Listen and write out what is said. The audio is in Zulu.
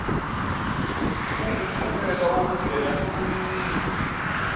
kungumphumela wokubeka imininingo